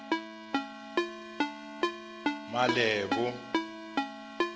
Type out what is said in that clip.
malebo